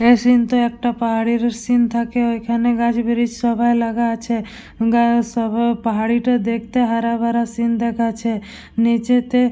এই সীন তে একটা পাহাড়ের সিন থাকে ওইখানে গাছ ব্রিক্স সবাই লাগা আছে। গাছ সবে পাহাড়িটা দেখতে হারা ভরা সীন দেখাচ্ছে। নিচেতে--